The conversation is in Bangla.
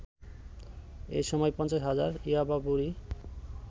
এসময় ৫০ হাজার ইয়াবা বড়ি